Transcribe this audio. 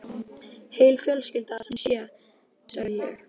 Heil fjölskylda sem sé, sagði ég.